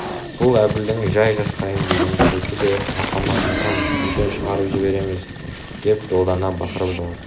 бұл әбілдің жай жасқайын дегені сөйтті де апама айтам үйден шығарып жібереміз деп долдана бақырып жылап